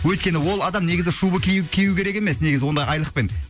өйткені ол адам негізі шуба кию кию керек емес негізі ондай айлықпен